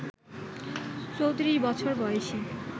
৩৪ বছর বয়সী